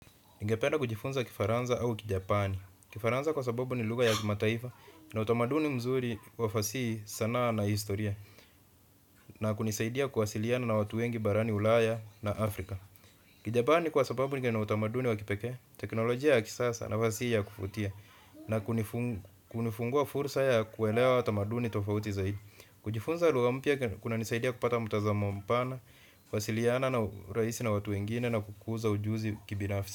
Ningependa kujifunza Kifaransa au Kijapani. Kifaransa kwa sababu ni lugha ya kimataifa na utamaduni mzuri wa fasihi sanaa na historia na kunisaidia kuwasiliana na watu wengi barani Ulaya na Afrika. Kijapani kwa sababu kina utamaduni wa kipekee teknolojia ya kisasa na fasihi ya kuvutia n. Kujifunza lugha mpya kuna nisaidia kupata mtazamo mpana, kuwasiliana na urahisi na watu wengine na kukuza ujuzi kibinafsi.